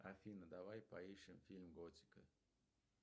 афина давай поищем фильм готика